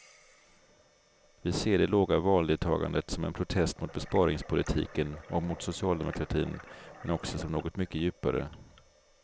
Vi ser det låga valdeltagandet som en protest mot besparingspolitiken och mot socialdemokratin, men också som något mycket djupare.